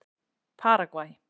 Paragvæ